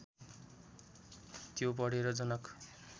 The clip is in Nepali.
त्यो पढेर जनक